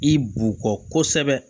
I b'u kɔkɔ kosɛbɛ